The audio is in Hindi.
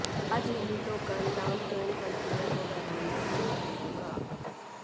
आज नहीं तो कल दाम तो इन कंपनियों को बढ़ाना ही पड़ेगा